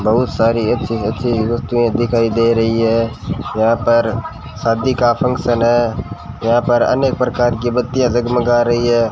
बहुत सारी अच्छी अच्छी वस्तुएं दिखाई दे रहीं है यहां पर शादी का फंक्शन है यहां पर अनेक प्रकार की बत्तियां जगमगा रही है।